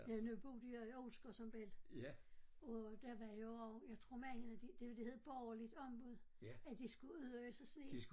Ja nu boede jeg i Olsker som belli og der var jo jeg tror mændene de det hed borgeligt ombud at de skulle ud og øse sne